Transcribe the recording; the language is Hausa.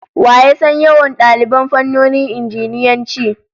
Wa ya san yawan daliban fannonin Injiniyanci?